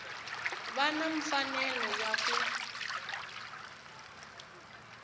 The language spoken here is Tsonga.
va na mfanelo ya ku